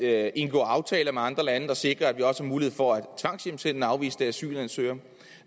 at indgå aftaler med andre lande der sikrer at vi også har mulighed for at tvangshjemsende afviste asylansøgere